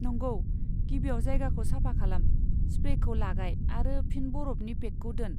नंगौ, गिबियाव जायगाखौ साफा खालाम, स्प्रेखौ लागाय आरो फिन बरफनि पेकखौ दोन।